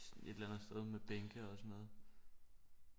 Et eller andet sted med bænke og sådan noget